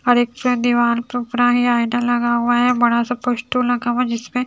लगा हुआ है बड़ा सा पोस्टो लगा हुआ है जिसमें--